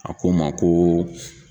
A ko n ma ko